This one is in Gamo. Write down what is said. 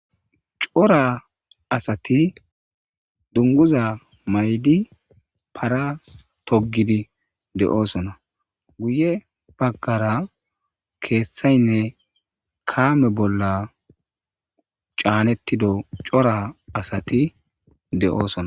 Cora asati dunguza maydi para togidi de7oosona guye bagkara keeththaynne kaame bolla caanettido cora asati de7oosona